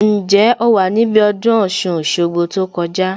Ǹjẹ́ o wà níbí ọdún Ọ̀ṣun Òṣogbo tó kọjá